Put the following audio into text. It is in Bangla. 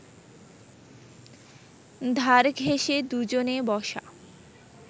ধার ঘেঁষে দু’জনে বসা